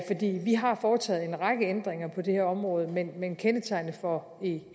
vi har foretaget en række ændringer på det her område men men kendetegnende for